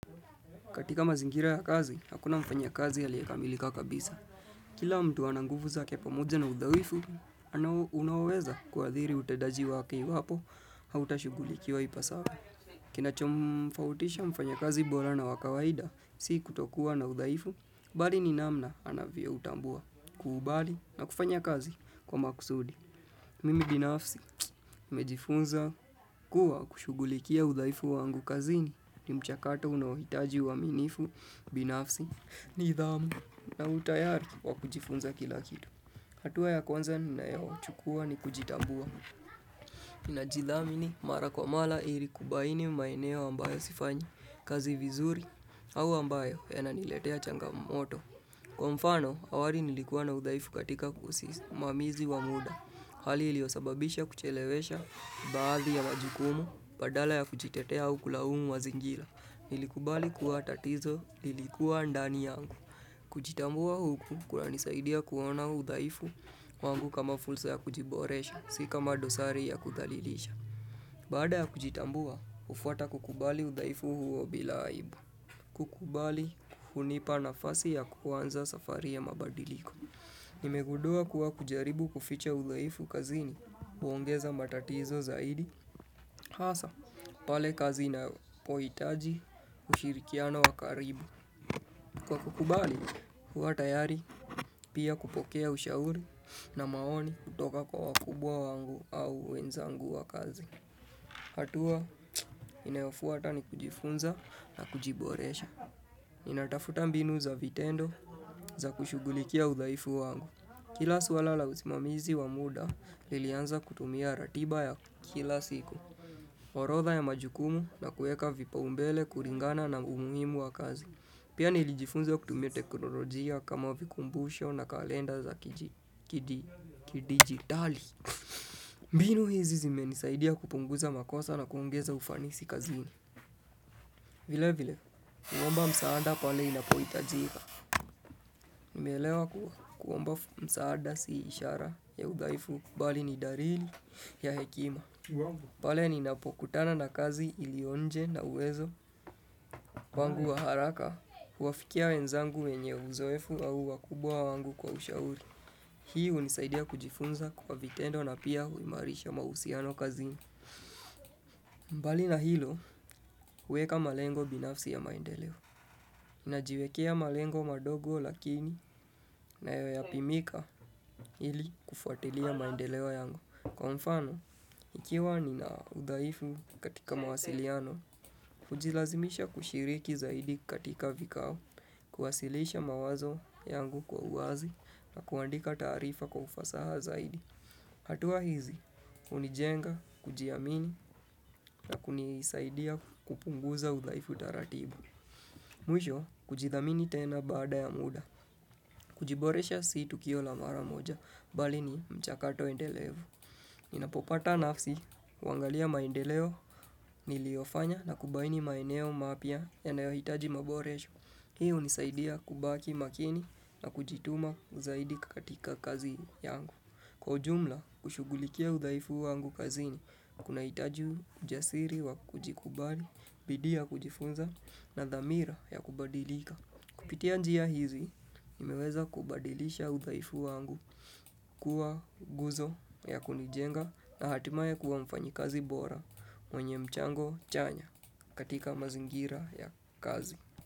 Katika mazingira ya kazi, hakuna mfanya kazi aliekamilika kabisa. Kila mtu ananguvu za kia pamoja na udhaifu, anao unawweza kuadhiri utendaji wake iwapo, hauta shugulikiwa ipasavyo. Kina chomfautisha mfanya kazi bora na wakawaida, si kutokua na udhaifu, bali ni namna anavyo utambua, kuubali na kufanya kazi kwa makusudi. Mimi binafsi, nimejifunza kuwa kushugulikia udhaifu wa angu kazini. Ni mchakato unohitaji wa minifu, binafsi, nidhamu, na utayari wa kujifunza kila kitu. Hatua ya kwanza na yo chukua ni kujitambuwa. Najidhamini ni marakwamala irikubaini mmaeneo ambayo sifanyi, kazi vizuri, au ambayo yananiletea changa moto. Kwa mfano, awari nilikuwa na udhaifu katika kusisi mamizi wa muda. Hali iliosababisha kuchelewesha baadhi ya majukumu, badala ya kujitetea au kulaumu mazingira Nilikubali kuatatizo lilikuwa ndani yangu. Kujitambua huku kuna nisaidia kuona udhaifu wangu kama fulsa ya kujiboresha, sika madosari ya kuthalilisha. Baada ya kujitambua, ufwata kukubali udhaifu huo bila aibu. Kukubali hunipa nafasi ya kuanza safari ya mabadiliko. Nimegundua kuwa kujaribu kuficha udhaifu kazini, huongeza matatizo zaidi, hasa, pale kazi inapohitaji ushirikiano wakaribu. Kwa kukubali, uwa tayari, pia kupokea ushauri na maoni kutoka kwa wakubwa wangu au wenzangu wa kazi. Hatua, inayofuata ni kujifunza na kujiboresha. Inatafuta mbinu za vitendo za kushugulikia udhaifu wangu. Kila swala la uzimamizi wa muda lilianza kutumia ratiba ya kila siku orodha ya majukumu na kueka vipa umbele kuringana na umuhimu wa kazi Pia nilijifunza kutumia teknolojia kama vikumbusho na kalenda za kidigitali mbinu hizi zime nisaidia kupunguza makosa na kuongeza ufanisi kazini vile vile, kuomba msaada pale inapoitajika Nimelewa kuomba msaada si ishara ya udhaifu mbali ni darili ya hekima. Pale ni napokutana na kazi ilionje na uwezo wangu wa haraka, huwafikia wenzangu wenye uzoefu au wakubwa wangu kwa ushauri. Hii unisaidia kujifunza kwa vitendo na pia huimarisha mausiano kazini. Mbali na hilo, uweka malengo binafsi ya maendeleo. Najiwekea malengo madogo lakini na yoyapimika ili kufuatilia maendeleo yangu. Kwa mfano, ikiwa ni na udhaifu katika mawasiliano, ujilazimisha kushiriki zaidi katika vikao, kuwasilisha mawazo yangu kwa uwazi na kuandika taarifa kwa ufasaha zaidi. Hatua hizi, unijenga, kujiamini na kunisaidia kupunguza udhaifu taratibu. Mwisho, kujidhamini tena baada ya muda. Kujiboresha situ kio lamara moja, bali ni mchakato endelevu. Ninapopata nafsi, wangalia maendeleo niliofanya na kubaini maeneo mapya yanayohitaji maboresho. Hii unisaidia kubaki makini na kujituma zaidi katika kazi yangu. Kwa ujumla, kushugulikia udhaifu wangu kazi ni, kuna hitaji ujasiri wa kujikubali, bidii kujifunza na dhamira ya kubadilika. Kupitia njia hizi, nimeweza kubadilisha udhaifu wangu kuwa guzo ya kunijenga na hatimaye kuwa mfanyi kazi bora mwenye mchango chanya katika mazingira ya kazi.